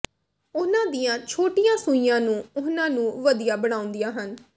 ਉਨ੍ਹਾਂ ਦੀਆਂ ਛੋਟੀਆਂ ਸੂਈਆਂ ਨੂੰ ਉਨ੍ਹਾਂ ਨੂੰ ਵਧੀਆ ਬਣਾਉਂਦੀਆਂ ਹਨ